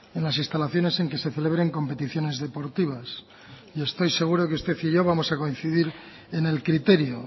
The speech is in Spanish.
en las instalaciones en que se celebren competiciones deportivas y estoy seguro que usted y yo vamos a coincidir en el criterio